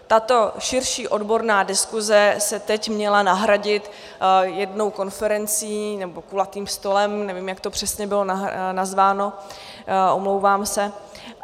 Tato širší odborná diskuse se teď měla nahradit jednou konferencí, nebo kulatým stolem - nevím, jak to přesně bylo nazváno, omlouvám se.